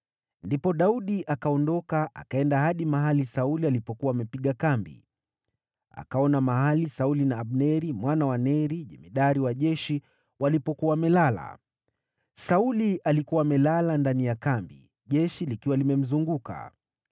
Ndipo Daudi akaondoka, akaenda hadi mahali Sauli alikuwa amepiga kambi. Akaona mahali Sauli na Abneri mwana wa Neri, jemadari wa jeshi, walipokuwa wamelala. Sauli alikuwa amelala ndani ya kambi, jeshi likiwa limemzunguka.